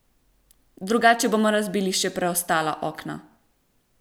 Drugače bomo razbili še preostala okna!